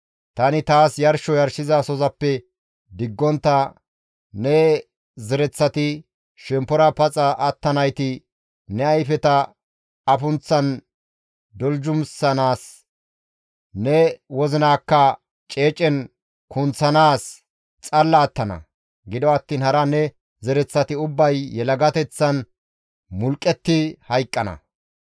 Tani taas yarsho yarshizasozappe diggontta ne zereththati, shemppora paxa attanayti ne ayfeta afunththan doljumissanaas, ne wozinaakka ceecen kunththanaas xalla attana. Gido attiin hara ne zereththati ubbay yelagateththan mulqqetti hayqqana.